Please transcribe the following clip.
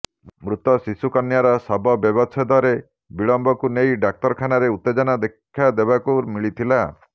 ମୃତ ଶିଶୁକନ୍ୟାର ଶବବ୍ୟବଚ୍ଛେଦରେ ବିଳମ୍ବକୁ ନେଇ ଡାକ୍ତରଖାନାରେ ଉତ୍ତେଜନା ଦେଖାଦେବାକୁ ମିଳିଥିଲା